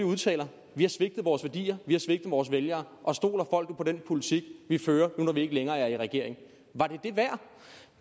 udtale vi har svigtet vores værdier vi har svigtet vores vælgere og stoler folk på den politik vi fører nu hvor vi ikke længere er i regering man